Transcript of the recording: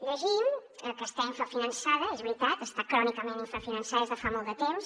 llegim que està infrafinançada és veritat està crònicament infrafinançada des de fa molt de temps